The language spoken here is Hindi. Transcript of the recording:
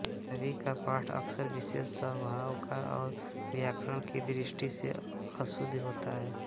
छवि का पाठ अक्सर विशेष स्वभाव का और व्याकरण की दृष्टि से अशुद्ध होता है